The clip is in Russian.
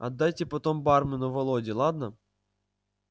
отдайте потом бармену володе ладно